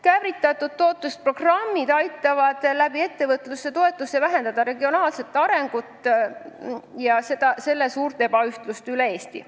Käivitatud programmid aitavad ettevõtlustoetuse abil vähendada regionaalse arengu suurt ebaühtlust üle Eesti.